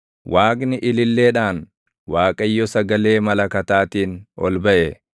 Waaqni ililleedhaan, Waaqayyo sagalee malakataatiin ol baʼe.